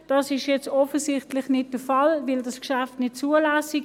Das ist jetzt offensichtlich nicht der Fall, da das Geschäft dies nicht zulässt.